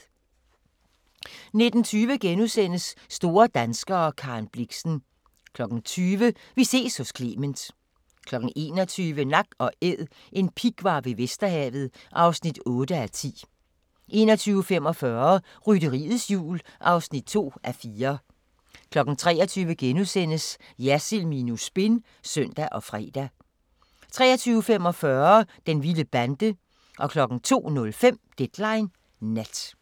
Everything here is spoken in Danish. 19:20: Store danskere - Karen Blixen * 20:00: Vi ses hos Clement 21:00: Nak & Æd – en pighvar ved Vesterhavet (8:10) 21:45: Rytteriets Jul (2:4) 23:00: Jersild minus spin *(søn og fre) 23:45: Den vilde bande 02:05: Deadline Nat